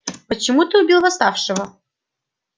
почему ты убил восставшего